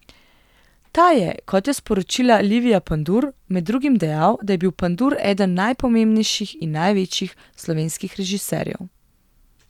Ta je, kot je sporočila Livija Pandur, med drugim dejal, da je bil Pandur eden najpomembnejših in največjih slovenskih režiserjev.